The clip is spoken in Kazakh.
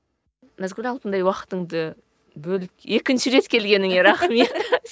назгүл алтындай уақытыңды бөліп екінші рет келгеніңе рахмет